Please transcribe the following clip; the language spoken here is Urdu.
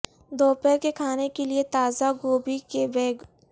دوپہر کے کھانے کے لئے تازہ گوبھی کے بیگ